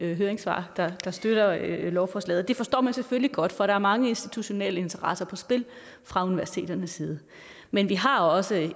høringssvar der støtter lovforslaget det forstår man selvfølgelig godt for der er mange institutionelle interesser på spil fra universiteternes side men vi har også